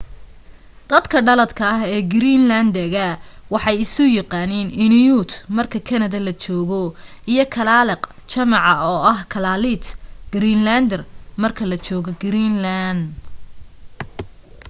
dadka dhaladka ah ee greenland dega waxay isu yaqaaniin inuit marka kanada la joogo iyo kalaalleq jamaca oo aha kalaallit greenlander marka la joogo greenland